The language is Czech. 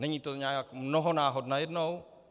Není to nějak mnoho náhod najednou?